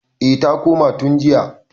eh ta koma tun jiya